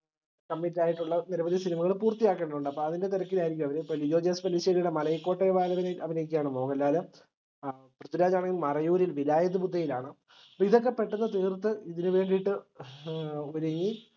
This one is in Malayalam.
committ ആയിട്ടുള്ള നിരവധി cinema കൾ പൂർത്തിയാക്കേണ്ടതുണ്ട് അപ്പൊ അതിന്റെ തിരക്കിലായിരിക്കും അവർ ഇപ്പൊ ലിജി ജൊസെല്ലിശ്ശേരിയുടെ മലൈക്കോട്ടൈ വാലിബനിൽ അഭിനയിക്കാണ് മോഹൻലാൽ പൃഥ്വിരാജ് ആണേൽ മറയൂരിൽ വിലായുധബുദ്ധയിലാണ് അപ്പൊ ഇതൊക്കെ പെട്ടന്ന് തീർത്തു ഇതിനുവേണ്ടിട്ട് ഏർ ഒരുങ്ങി